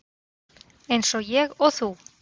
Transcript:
Eins og ég og þú.